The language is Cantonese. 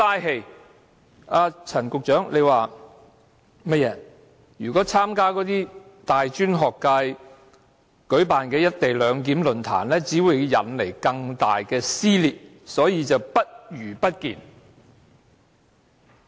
正如陳局長所說，若參加大專學界舉辦的"一地兩檢"論壇，只會引來更大撕裂，所以"不如不見"。